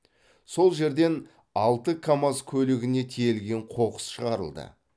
сол жерден алты камаз көлігіне тиелген қоқыс шығарылды